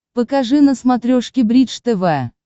покажи на смотрешке бридж тв